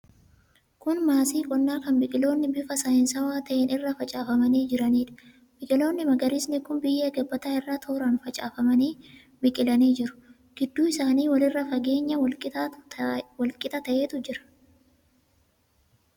Kun maasii qonnaa kan biqiloonni bifa saayinsawaa ta'een irra facaafamanii jiraniidha. Biqiloonni magariisni kun biyyee gabbataa irra tooraan facaafamanii biqilanii jiru. Gidduu isaanii wal irraa fageenya wal qixa ta'etu jira.